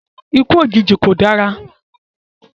Ikú òjijì kò dára